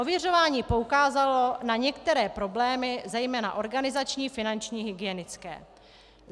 Ověřování poukázalo na některé problémy zejména organizační, finanční, hygienické.